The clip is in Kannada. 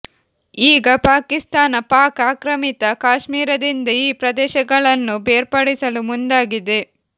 ಈಗ ಪಾಕಿಸ್ತಾನ ಪಾಕ್ ಆಕ್ರಮಿತ ಕಾಶ್ಮೀರದಿಂದ ಈ ಪ್ರದೇಶಗಳನ್ನು ಬೇರ್ಪಡಿಸಲು ಮುಂದಾಗಿದೆ